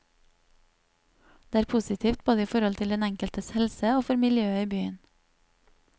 Det er positivt, både i forhold til den enkeltes helse og for miljøet i byen.